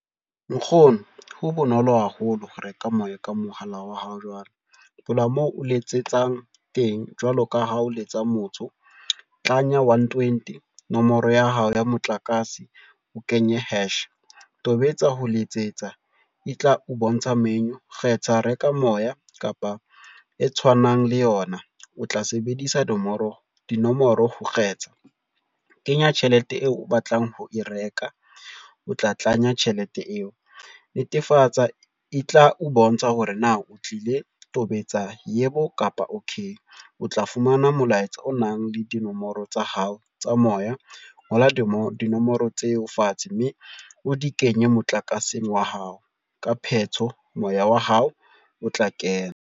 Nkgono ho bonolo haholo ho reka moya ka mohala wa hao jwale moo o letsetsang teng jwalo ka ha o letsa motho. Tlanya onetwenty, nomoro ya hao ya motlakase o kenye hash, tobetsa ho letsetsa e tla o bontsha menu, kgetha reka moya kapa e tshwanang le yona o tla sebedisa dinomoro ho kgetha, kenya tjhelete eo o batlang ho e reka, o tla tlanya tjhelete eo netefatsa e tla o bontsha hore na o tlile tobetsa yebo kapa okay. O tla fumana molaetsa o nang le dinomoro tsa hao tsa moya, ngola dinomoro tseo fatshe mme o di kenye motlakaseng wa hao, ka pheto moya wa hao o tla kena.